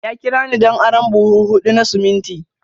Ya kira ni don arron buhu hudu na siminti.